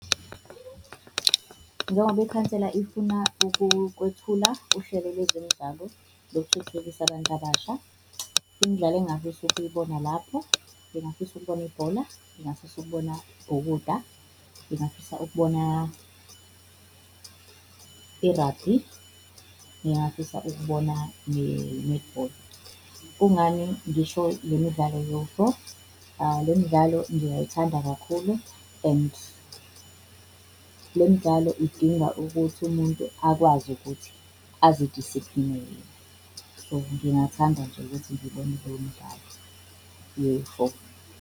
Njengoba ikhansela ifuna ukwethula uhlelo lwezemidlalo lokuthuthukisa abantu abasha, imidlalo engingafisa ukuyibona lapho, ngingafisa ukubona ibhola, ngingafisa ukubona ukubhukuda, ngingafisa ukubona i-rugby, ngingafisa ukubona i-netball. Kungani ngisho lemidlalo yo-four, lemidlalo ngiyayithanda kakhulu and lemidlalo idinga ukuthi umuntu akwazi ukuthi azi-discipline-e. So, ngingathanda nje ukuthi ngibone lemdlalo yo-four.